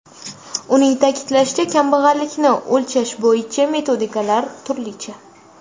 Uning ta’kidlashicha, kambag‘allikni o‘lchash bo‘yicha metodikalar turlicha.